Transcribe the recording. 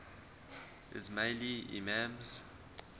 ismaili imams